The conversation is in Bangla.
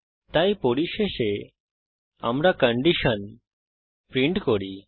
তাই পরিশেষে আমরা কন্ডিশন প্রিন্ট করি